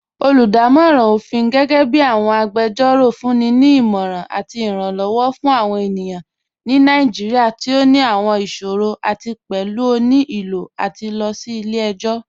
Olúdàmọ̀ran ọ̀fin, gẹgẹbi awọn agbẹ́jọ́rọ̀, fún ni ní ìmọ̀ran àti ìrànlowọ̀ fún awọn ènìyàn ni Naijíríà tí ó ní àwọn ìṣòrọ̀ àti pẹ̀lú ó ní ilò lati lọ sí ilẹ̀-ẹ̀jọ̀.